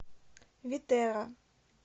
витерра